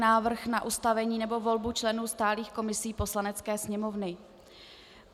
Návrh na ustavení nebo volbu členů stálých komisí Poslanecké sněmovny